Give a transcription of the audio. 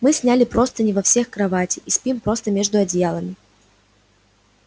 мы сняли простыни во всех кроватей и спим просто между одеялами